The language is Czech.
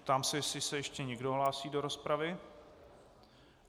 Ptám se, jestli se ještě někdo hlásí do rozpravy.